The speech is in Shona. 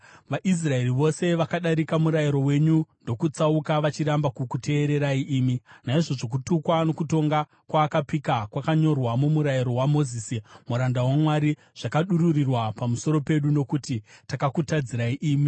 VaIsraeri vose vakadarika murayiro wenyu ndokutsauka, vachiramba kukuteererai imi. “Naizvozvo kutukwa nokutonga kwaakapika kwakanyorwa mumurayiro waMozisi, muranda waMwari, zvakadururirwa pamusoro pedu, nokuti takakutadzirai imi.